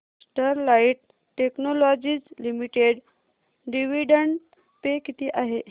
Sterlite Technologies Limited dividend pay किती आहे